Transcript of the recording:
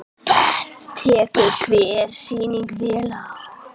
Tekur hver sýning vel á?